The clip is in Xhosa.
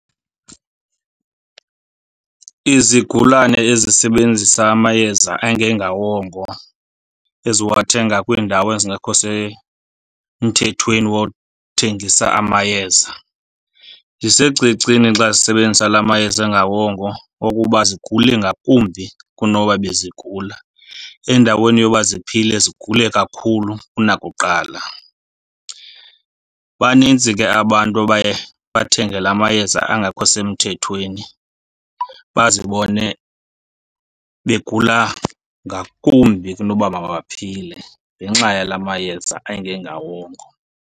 Izigulane ezisebenzisa amayeza engengawongo eziwathenga kwiindawo ezingekho semthethweni wothengisa amayeza zisecicini xa zisebenzisa la mayeza engawongo okuba zigule ngakumbi kunoba bezigula. Endaweni yoba ziphile zigule kakhulu kunakuqala. Banintsi ke abantu abaye bathenge la mayeza angakho semthethweni, bazibone begula ngakumbi kunoba mabaphile ngenxa yala mayeza angengawongo.